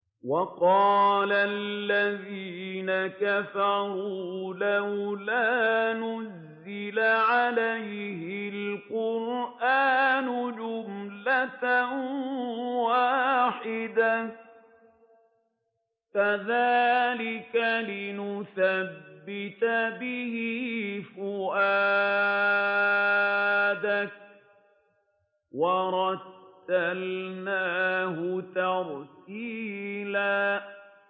وَقَالَ الَّذِينَ كَفَرُوا لَوْلَا نُزِّلَ عَلَيْهِ الْقُرْآنُ جُمْلَةً وَاحِدَةً ۚ كَذَٰلِكَ لِنُثَبِّتَ بِهِ فُؤَادَكَ ۖ وَرَتَّلْنَاهُ تَرْتِيلًا